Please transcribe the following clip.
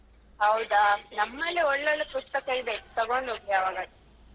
ಹೌದಾ.ನಮಲ್ಲಿ ಒಳ್ಳೊಳ್ಳೆ ಪುಸ್ತಕ ಇದೆ ತಗೊಂಡ್ಹೋಗಿ ಯಾವಾಗಾದ್ರೂ.